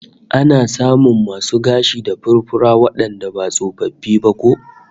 Ana samun masu gashi da furfura wandanda ba tsofaffi ba ko?